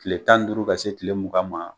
Kile tan ni duuru ka se kile mungan ma